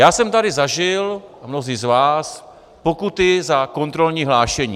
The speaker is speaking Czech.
Já jsem tady zažil, a mnozí z vás, pokuty za kontrolní hlášení.